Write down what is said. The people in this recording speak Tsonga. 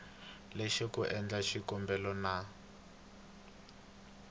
yexe ku endla xikombelo na